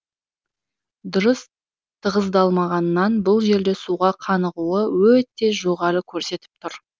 дұрыс тығыздалмағаннан бұл жерде суға қанығуы өте жоғары көрсетіп тұр